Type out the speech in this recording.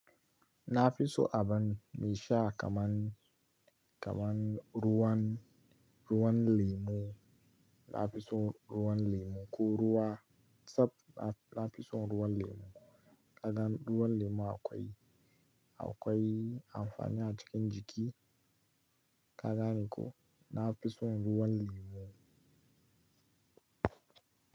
Na fi so abun mai sha kaman, kaman ruwan, ruwan lemu. Na fi so ruwan lemu. Ko ruwa sab na, na fi so ruwan lemu. Ka gan ruwan lemu akwai, akwai amfani a cikin jiki. Ka gani ko? Na fi so ruwan lemu.